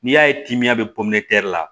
N'i y'a ye tɛnɛn bɛ la